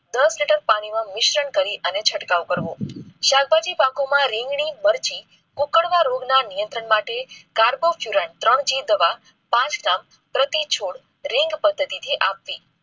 દસ લિટર પાણી માં મિશ્રણ કરી અને છટકાવ કરવો. શાકભાજી પાકો માં રીંગણી મરચી, કુકણા રોગ ના નિયંત્રણ માટે કાર્બો ચૂરા ત્રણ જીતવા પાંચ લાખ પ્રતિ છોડ રિંગ પદ્ધતિથી આપ્ય